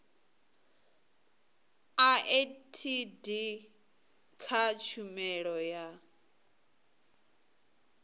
a etd kha tshumelo ya